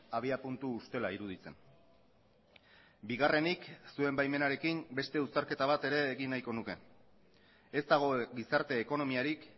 abiapuntu ustela iruditzen bigarrenik zuen baimenarekin beste uztarketa bat ere egin nahiko nuke ez dago gizarte ekonomiarik